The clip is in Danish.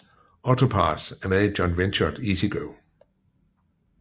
AutoPASS er med i joint venturet EasyGo